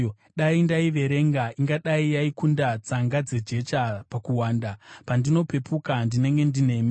Dai ndaiverenga, ingadai yaikunda tsanga dzejecha pakuwanda. Pandinopepuka, ndinenge ndinemi.